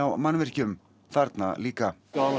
mannvirkjum þarna líka